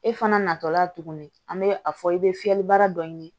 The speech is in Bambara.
E fana natɔ la tuguni an bɛ a fɔ i bɛ fiyɛli baara dɔ ɲini